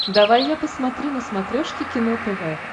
давай я посмотрю на смотрешке кино тв